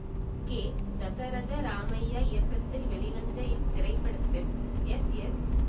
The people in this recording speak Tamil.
கே தசரத ராமைய்யா இயக்கத்தில் வெளிவந்த இத்திரைப்படத்தில் எஸ் எஸ்